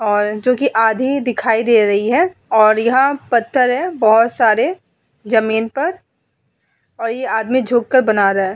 और जो कि आधी दिखाई दे रही हैं और यह पत्थर है बहोत सारे जमीन पर और यह आदमी झुक कर बना रहा हैं।